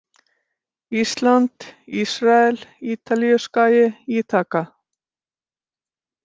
Ísland, Ísrael, Ítalíuskagi, Íþaka